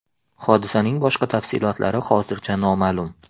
Hodisaning boshqa tafsilotlari hozircha noma’lum.